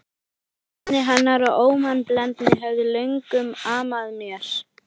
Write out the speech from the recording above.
Feimni hennar og ómannblendni höfðu löngum amað mér.